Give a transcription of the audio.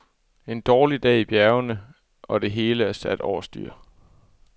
En dårlig dag i bjergene, og det hele er sat over styr.